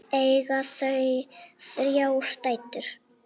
Eiga þau þrjár dætur.